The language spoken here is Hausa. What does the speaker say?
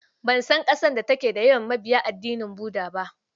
Ban san ƙasar da take da yawan mabiya addinin Buda ba.